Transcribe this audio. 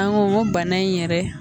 An ko ko bana in n yɛrɛ